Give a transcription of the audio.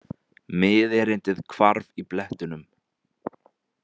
Miðerindið hvarf í blettunum.